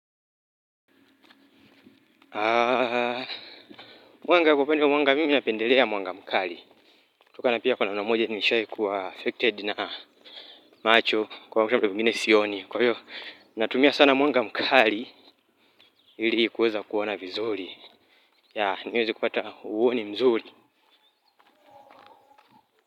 Mimi napendelea mwanga mkali tokana pia kuna mara moja nishai kuwa affected na macho kwa vitu vingine sioni, kwa hiyo natumia sana mwanga mkali ili kuweza kuona vizuri, niweze kupata uoni mzuri.